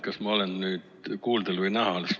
Kas ma olen nüüd kuuldel või näha?